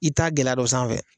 I t'a gɛlɛya don sanfɛ.